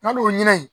N'a don ɲinɛ